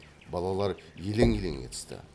балалар елең елең етісті